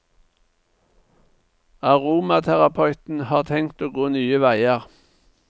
Aromaterapeuten har tenkt å gå nye veier.